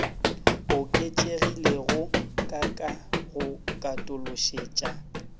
oketšegilego ka ka go katološetša